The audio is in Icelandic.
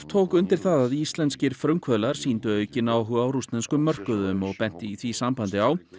tók undir það að íslenskir frumkvöðlar sýndu aukinn áhuga á rússneskum mörkuðum og benti í því sambandi á